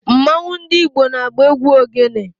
Mmanwu ndi Igbo na-agba egwu ogene